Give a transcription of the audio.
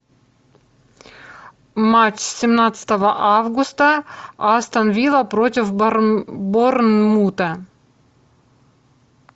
матч семнадцатого августа астон вилла против борнмута